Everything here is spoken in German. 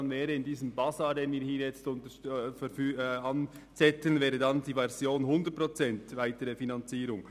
In diesem Basar, den wir hier veranstalten, wäre dies die Variante «100 Prozent weitere Finanzierung».